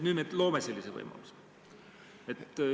Nüüd me loome sellise võimaluse.